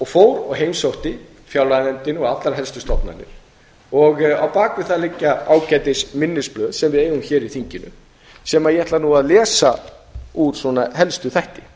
fór og heimsótti fjárlaganefndina og allar helstu stofnanir á bak við það liggja ágætis minnisblaði sem við eigum hér í þinginu sem ég ætla nú að lesa úr svona helstu þætti með